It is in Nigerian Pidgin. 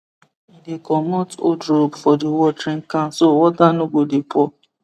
he dey comot old rope for the watering can so water no go dey pour